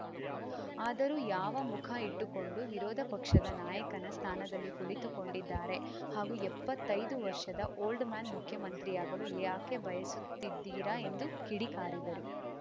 ಆದರೂ ಯಾವ ಮುಖ ಇಟ್ಟುಕೊಂಡು ವಿರೋಧ ಪಕ್ಷದ ನಾಯಕನ ಸ್ಥಾನದಲ್ಲಿ ಕುಳಿತುಕೊಂಡಿದ್ದಾರೆ ಹಾಗೂ ಎಪ್ಪತ್ತೈದು ವರ್ಷದ ಓಲ್ಡ್‌ ಮ್ಯಾನ್‌ ಮುಖ್ಯಮಂತ್ರಿಯಾಗಲು ಏಕೆ ಬಯಸುತ್ತಿದ್ದೀರಾ ಎಂದು ಕಿಡಿಕಾರಿದರು